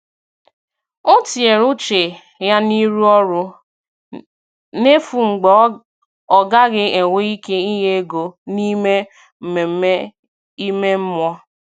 Ọ̀ tìnyere uche ya n’ịrụ ọrụ n’efu mgbe ọ̀ gaghị enwe ike inye ego n’ime mmemme ime mmụọ.